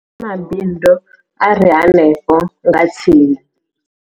Kha mabindu a re henefho nga tsini.